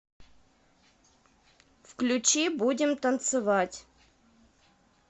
включи будем танцевать